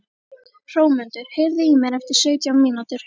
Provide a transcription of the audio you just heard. Hrómundur, heyrðu í mér eftir sautján mínútur.